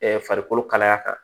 farikolo kalaya kan